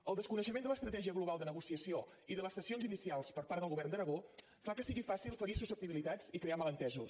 el desconeixement de l’estratègia global de negociació i de les cessions inicials per part del govern d’aragó fa que sigui fàcil ferir susceptibilitats i crear malentesos